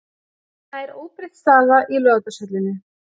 Nær óbreytt staða í Laugardalshöllinni